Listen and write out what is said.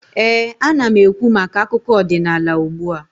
ee, ana m ekwu maka akụkọ ọdịnaala ugbua